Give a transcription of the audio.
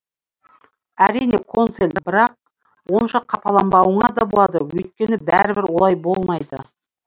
әрине консель бірақ онша қапаланбауыңа да болады өйткені бәрібір олай болмайды